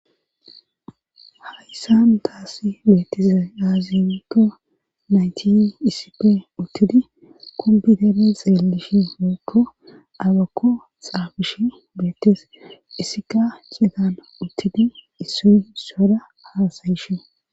Hayssan taasi beettizay aazinikko nayti issippe uttidi kombidenen xeellishi hookko abakko xaabish beettes issika citana uttidi issoy issoda haasayishe.